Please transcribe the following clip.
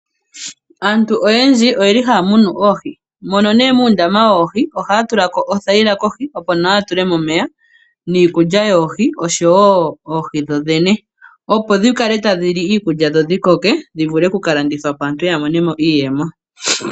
Aantu oyendji oye li haya munu oohi. Mono nee muundama woohi, ohaya tulamo othayila kohi, opo nawa yatulemo omeya, niikulya yoohi, noshowo oohi dhoodhene, opo dhikale tadhi li iikulya dhikoke, dhivule okukalandithwapo, yo aantu yamone iiyemo.